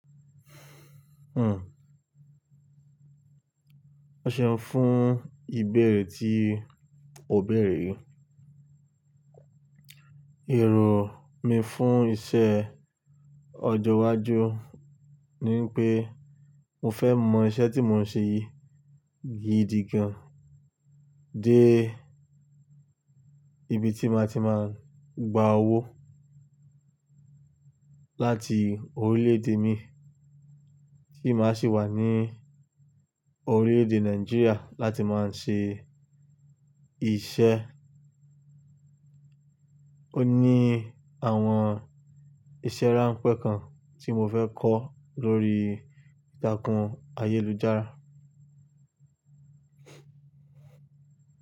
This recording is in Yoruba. Hmm. Ọṣẹ ń fún ìbẹ̀rẹ̀ tí òbẹ̀rẹ̀ yii Èrò mi fún iṣẹ́ ọjọ́ iwájú ni wi pé mo fẹ́ mọ iṣẹ́ tí mò ń ṣe yìí gidi gan-an dé ibi tí màá ti máa gba owó láti orílẹ̀-èdè mi, tí màá sì wà ní orílẹ̀-èdè Nàìjíríà láti máa ń ṣe iṣẹ́. Ó ní àwọn iṣẹ́ ránpẹ́ kan tí mo fẹ́ kọ́ lórí ìtàkùn ayélujára.